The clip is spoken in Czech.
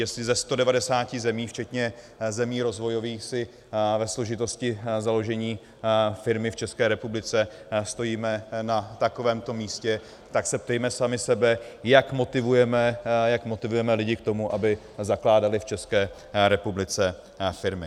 Jestli ze 190 zemí včetně zemí rozvojových si ve složitosti založení firmy v České republice stojíme na takovémto místě, tak se ptejme sami sebe, jak motivujeme lidi k tomu, aby zakládali v České republice firmy.